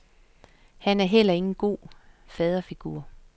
Han er heller ingen god faderfigur.